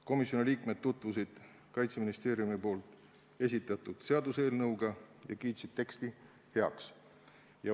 Komisjoni liikmed tutvusid Kaitseministeeriumi esitatud seaduseelnõuga ja kiitsid teksti heaks.